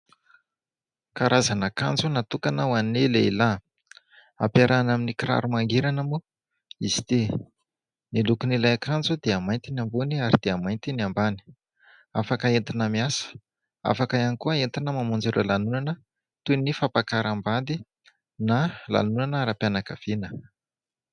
Karazana akanjo natokana ho an'ny lehilahy, ampiarahana amin'ny kiraro mangirana moa izy ity. Ny lokon'ilay akanjo dia mainty ny ambony ary dia mainty ny ambany, afaka entina miasa, afaka ihany koa entina mamonjy ireo lanonana toy ny fampakaram-bady na lanonana ara-pianakaviana.